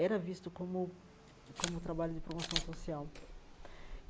era visto como como trabalho de promoção social.